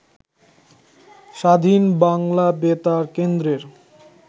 স্বাধীন বাংলা বেতার কেন্দ্রের